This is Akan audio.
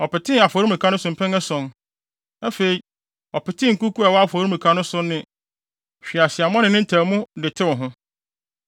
Ɔpetee afɔremuka no so mpɛn ason. Afei, ɔpetee nkuku a ɛwɔ afɔremuka no so no ne hweaseammɔ ne ne ntaamu ho de tew ho.